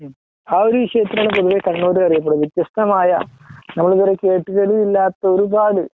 ആ ഒരു വിഷയത്തിലാണ് പൊതുവേ കണ്ണൂര് അറിയപ്പെടുന്നത് വ്യത്യസ്തമായ നമ്മളു എന്താ പറയുവാ കേട്ടുകേൾവി ഇല്ലാത്ത ഒരുപാട്